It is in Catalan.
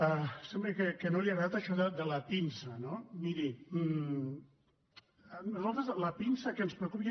sembla que no li ha agradat això de la pinça no miri a nosaltres la pinça que ens preocupa